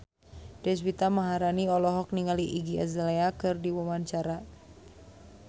Deswita Maharani olohok ningali Iggy Azalea keur diwawancara